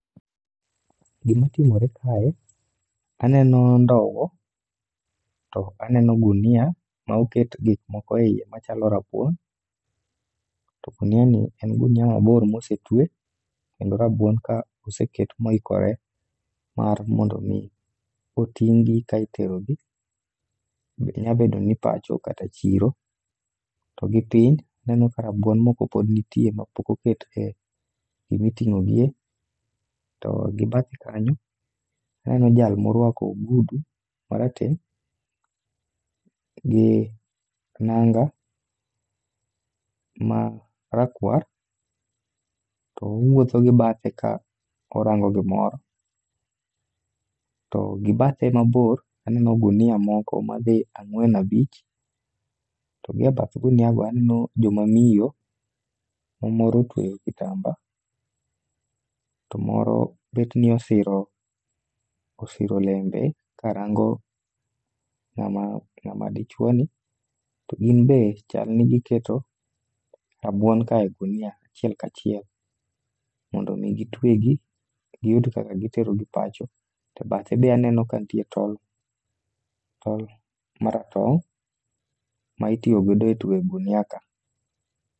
Gimatimore kae, aneno ndowo to aneno gunia ma oket gik moko e iye machalo rabuon. To gunia ni en gunia mabor mosetwe, kendo rabuon ka oseket moikore mar mondo mi oting'gi ka iterogi, nyabedo ni pacho kata chiro. To gi piny neno ka rabuon moko pod nitie ma pok oket e gimiting'o gie. To gibathe kanyo, aneno jal morwako ogudu marateng' gi nanga ma rakwar, to owuotho gi bathe ka orango gimoro. To gi bathe mabor, aneno gunia moko madhi ang'wen abich, to gi e bath gunia go aneno joma miyo. Ma moro otwe kitamba, to moro bet ni osiro, osiro lembe ka rango ng'ama dichuoni. To gin be chalni giketo rabuon ka e gunia, achiel kachiel, mondo mi gitwegi giyud kaka giterogi pacho. To e bathe be aneno kanitie tol, tol maratong' ma itiyogodo e tweyo gunia ka.